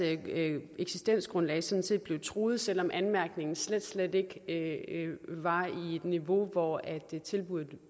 eksistensgrundlag sådan set blev truet selv om anmærkningen slet slet ikke var i et niveau hvor tilbuddet